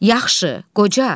Yaxşı, qoca.